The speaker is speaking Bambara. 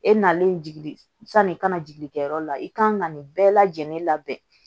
E nalen jigi sanni kana jigin kɛyɔrɔ la i kan ka nin bɛɛ lajɛlen labɛn